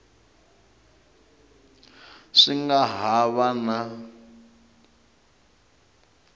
swi nga ha va na